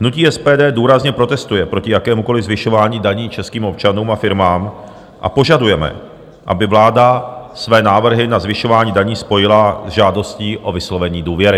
Hnutí SPD důrazně protestuje proti jakémukoliv zvyšování daní českým občanům a firmám a požadujeme, aby vláda své návrhy na zvyšování daní spojila se žádostí o vyslovení důvěry.